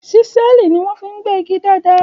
Ṣísẹ́ẹ̀lì ni wọ́n fi ń gbẹ́ igi dáadáa